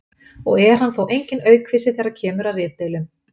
og er hann þó enginn aukvisi þegar kemur að ritdeilum.